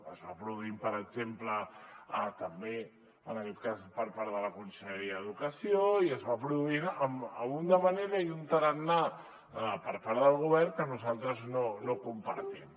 es va produint per exemple també en aquest cas per part de la conselleria d’educació i es va produint d’una manera i amb un tarannà per part del govern que nosaltres no compartim